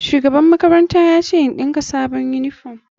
Shugaban makaranta ya ce in ɗinka sabon uniform.